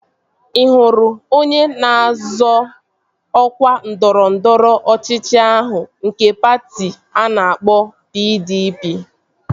Ị hụrụ onye na-azọ ọkwa ndọrọndọrọ ọchịchị ahụ nke patị a na-akpọ PDP?